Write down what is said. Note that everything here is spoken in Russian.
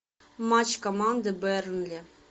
матч команды бернли